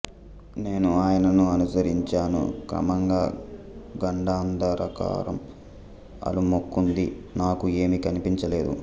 నేను ఆయనను అనుసరించాను క్రమంగా గాంఢాంధకారం అలుముకుంది నాకు ఏమీ కనిపించ లేదు